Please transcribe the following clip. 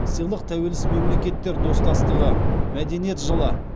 сыйлық тәуелсіз мемлекеттер достастығы мәдениет жылы